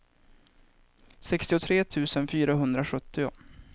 sextiotre tusen fyrahundrasjuttio